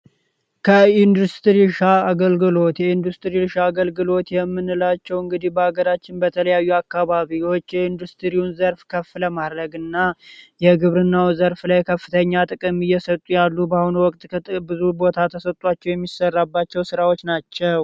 ከኢንዱስትሪ ርሻ አገልግሎት የኢንዱስትሪ ርሻ አገልግሎት የምንላቸው እንግዲህ በሀገራችን በተለያዩ አካባቢዎች የኢንዱስትሪውን ዘርፍ ከፍለ ማድረግ እና የግብርናው ዘርፍ ላይ ከፍተኛ ጥቅም የሰጡ ያሉ በአሁኑ ወቅት ከብዙ ቦታ ተሰጧቸው የሚሰራባቸው ሥራዎች ናቸው።